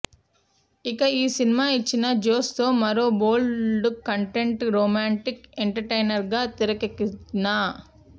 ఇక ఈ సినిమా ఇచ్చిన జోష్తో మరో బోల్డ్ కంటెంట్ రొమాంటిక్ ఎంటర్టైనర్గా తెరకెక్కిన